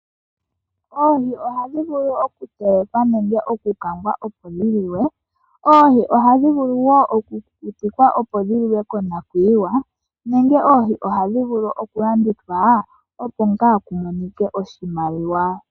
Oohi ohadhi vulu okutelekwa nenge okukangwa opo dhi liwe. Oohi ohadhi vulu wo okukukutikwa opo dhi liwe konakuyiwa, nenge oohi ohadhi vulu okulandithwa opo ngaa ku monike oshimaliwa.